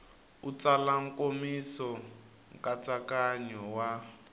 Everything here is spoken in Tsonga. u tsala nkomiso nkatsakanyo wa